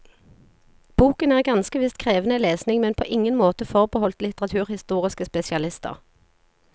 Boken er ganske visst krevende lesning, men på ingen måte forbeholdt litteraturhistoriske spesialister.